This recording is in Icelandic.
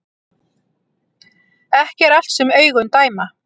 Ekki er allt sem augun dæma